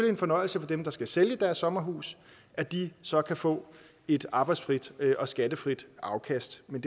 en fornøjelse for dem der skal sælge deres sommerhus at de så kan få et arbejdsfrit og skattefrit afkast men